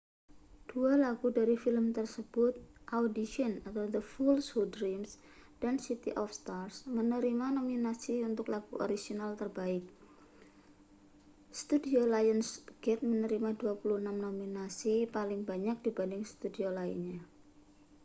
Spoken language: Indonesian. dua lagu dari film tersebut audition the fools who dream dan city of stars menerima nominasi untuk lagu orisinal terbaik. studio lionsgate menerima 26 nominasi — paling banyak dibanding studio lainnya